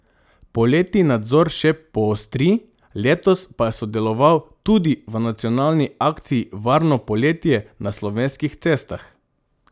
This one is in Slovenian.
Poleti nadzor še poostri, letos pa je sodeloval tudi v nacionalni akciji Varno poletje na slovenskih cestah.